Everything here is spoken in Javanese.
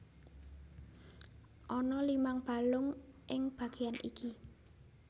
Ana limang balung ing bagéan iki